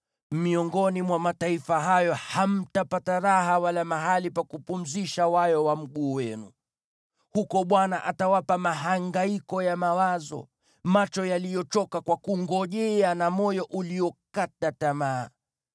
Miongoni mwa mataifa hayo hamtapata raha wala mahali pa kupumzisha wayo wa mguu wenu. Huko Bwana atawapa mahangaiko ya mawazo, macho yaliyochoka kwa kungojea na moyo uliokata tamaa.